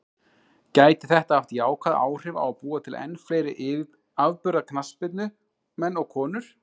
Gæti þetta haft jákvæð áhrif á að búa til enn fleiri afburða knattspyrnumenn og konur?